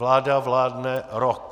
Vláda vládne rok.